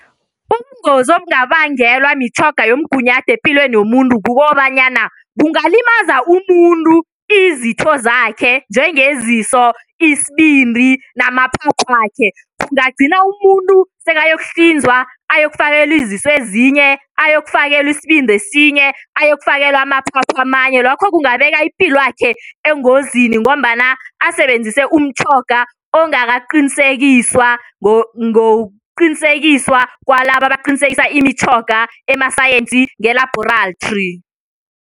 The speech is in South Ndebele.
Ubungozi obungabangelwa mitjhoga yomgunyathi epilweni yomuntu kukobanyana kungalimaza umuntu izitho zakhe njengeziso, isibindi namaphaphakhe. Kungagcina umuntu sekayokuhlinzwa ayokufakelwa iziso ezinye, ayokufakelwa isibindi esinye, ayokufakelwa amaphaphu amanye. Lokho kungabeka ipilwakhe engozini ngombana asebenzise umtjhoga ongakaqinisekiswa ngokuqinisekiswa kwalabo abaqinisekisa imitjhoga emasayensi ngelabhorathri.